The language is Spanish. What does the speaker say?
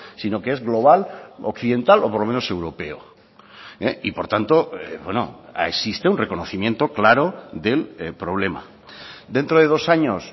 sino que es global occidental o por lo menos europeo y por tanto existe un reconocimiento claro del problema dentro de dos años